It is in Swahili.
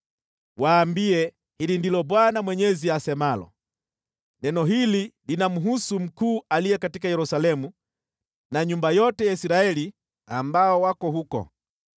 “Waambie, ‘Hili ndilo Bwana Mwenyezi asemalo: Neno hili linamhusu mkuu aliye katika Yerusalemu na nyumba yote ya Israeli ambao wako huko.’